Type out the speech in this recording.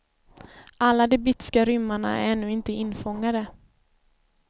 Alla de bitska rymmarna är ännu inte infångade.